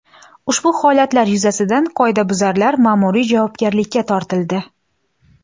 Ushbu holatlar yuzasidan qoidabuzarlar ma’muriy javobgarlikka tortildi.